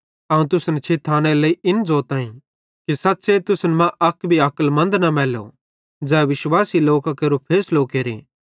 अवं तुसन छिथानेरे लेइ इन ज़ोताईं कि सच़्च़े तुसन मां अक भी अक्लमन्द न मैल्लो ज़ै विश्वासी लोकां केरो फैसलो केरे